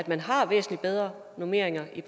man har væsentlig bedre normeringer i